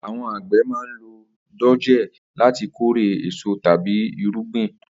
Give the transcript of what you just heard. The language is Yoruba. Àwo̩n àgbè̩ máa ń lo dòjé láti kórè è́so tàbí irúgbìn